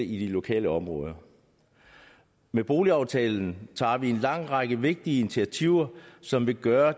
i lokalområderne med boligaftalen tager vi en lang række vigtige initiativer som vil gøre